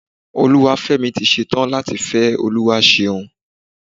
Olúwafẹ́mi tí ṣe tán láti fẹ́ Olúwaṣeun.